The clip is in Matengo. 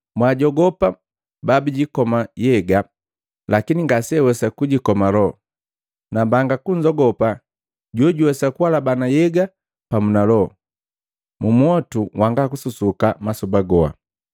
Mwaajogopa babijikoma nhyega, lakini ngaseawesa kujikoma loho. Nambanga kunzogopa jojuwesa kualabana nhyega pamu na loho mu mwotu wanga kususuka masoba goha.